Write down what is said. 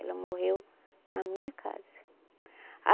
Ela morreu na minha casa a